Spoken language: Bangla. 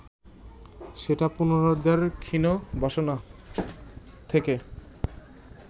সেটা পুনরুদ্ধারের ক্ষীণ বাসনা থেকে